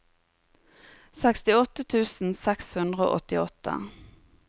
sekstiåtte tusen seks hundre og åttiåtte